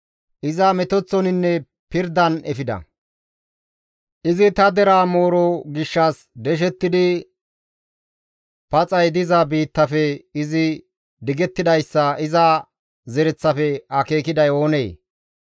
Iza metoththoninne pirdan efida; Izi ta deraa mooro gishshas deshettidi, paxay diza biittafe digettidayssa iza zereththafe akeekiday oonee?